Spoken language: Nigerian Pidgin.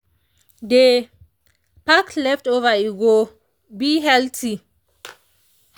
dey pack leftover e go be healthy.